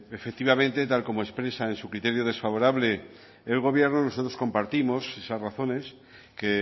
efectivamente tal y como expresa en su criterio desfavorable el gobierno nosotros compartimos esas razones que